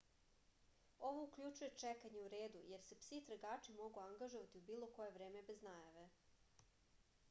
ovo uključuje čekanje u redu jer se psi tragači mogu angažovati u bilo koje vreme bez najave